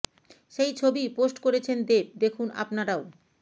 সেই ছবিই পোস্ট করেছেন দেব দেখুন আপনারাও